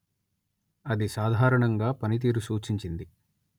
అది సాధారణంగా పనితీరు సూచించింది